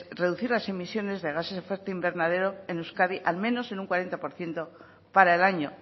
reducir las emisiones de gases de efecto invernadero en euskadi al menos en un cuarenta por ciento para el año